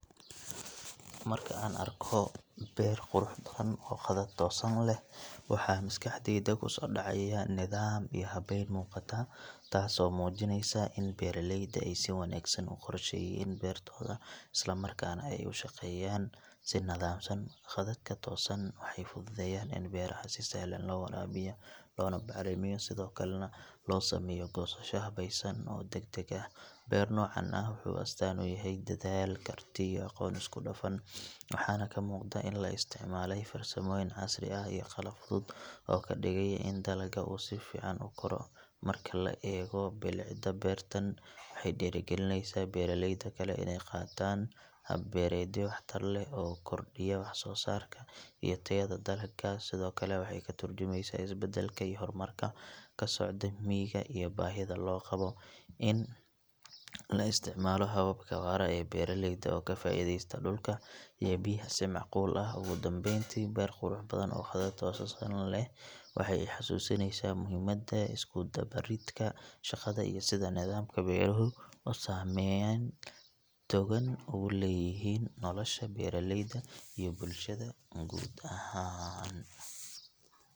Marka aan arko beer qurux badan oo khadad toosan leh waxaa maskaxdayda ku soo dhacaya nidaam iyo habeyn muuqata taas oo muujinaysa in beeraleyda ay si wanaagsan u qorsheeyeen beertooda isla markaana ay u shaqeeyaan si nidaamsan khadadka toosan waxay fududeeyaan in beeraha si sahlan loo waraabiyo loona bacrimiyo sidoo kalena loo sameeyo goosasho habaysan oo degdeg ah beer noocan ah wuxuu astaan u yahay dadaal, karti iyo aqoon isku dhafan waxaana ka muuqda in la isticmaalay farsamooyin casri ah iyo qalab fudud oo ka dhigaya in dalagga uu si fiican u koro marka la eego bilicda beertan waxay dhiirrigelinaysaa beeraleyda kale inay qaataan hab beereedyo waxtar leh oo kordhiya wax soo saarka iyo tayada dalagga sidoo kale waxay ka tarjumaysaa isbeddelka iyo horumarka ka socda miyiga iyo baahida loo qabo in la isticmaalo hababka waara ee beeraleyda oo ka faa’iideysta dhulka iyo biyaha si macquul ah ugu dambeyntii beer qurux badan oo khadad toosan leh waxay i xasuusinaysaa muhiimada isku dubaridka shaqada iyo sida nidaamka beeruhu uu saameyn togan ugu leeyahay nolosha beeraleyda iyo bulshada guud ahaan.